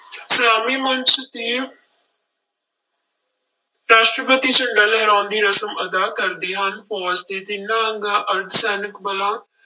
ਸਲਾਮੀ ਮੰਚ ਤੇ ਰਾਸ਼ਟਰਪਤੀ ਝੰਡਾ ਲਹਿਰਾਉਣ ਦੀ ਰਸਮ ਅਦਾ ਕਰਦੇ ਹਨ, ਫੌਜ਼ ਦੇ ਤਿੰਨਾ ਅੰਗਾਂ ਅਰਧ ਸੈਨਿਕ ਬਲਾਂ